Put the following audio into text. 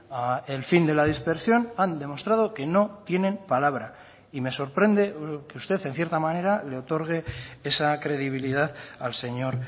al fin de la dispersión han demostrado que no tienen palabra y me sorprende que usted en cierta manera le otorgue esa credibilidad al señor